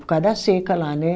Por causa da seca lá, né?